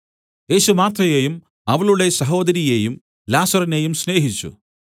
യേശു മാർത്തയെയും അവളുടെ സഹോദരിയെയും ലാസറിനെയും സ്നേഹിച്ചു